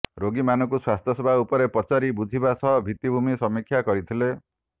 ରୋଗି ମାନଙ୍କୁ ସ୍ବାସ୍ଥ୍ୟ ସେବା ଉପରେ ପଚାରି ବୁଝିବା ସହ ଭିତ୍ତି ଭୂମି ସମିକ୍ଷା କରିଥିଲେ